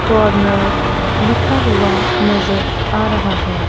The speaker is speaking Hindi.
कॉर्नर लिखा हुआ नजर आ रहा है।